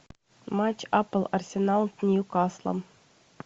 матч апл арсенал с ньюкаслом